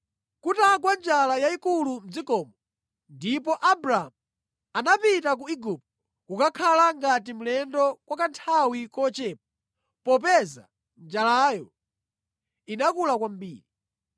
Kunagwa njala yayikulu mʼdzikomo, ndipo Abramu anapita ku Igupto kukakhala ngati mlendo kwa kanthawi kochepa popeza njalayo inakula kwambiri.